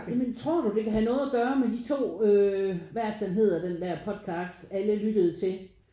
Ja men tror du det kan have noget at gøre med de to øh hvad er det den hedder den der podcast alle lyttede til